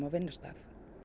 vinnustað